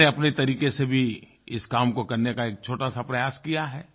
मैंने अपने तरीक़े से भी इस काम को करने का एक छोटा सा प्रयास किया है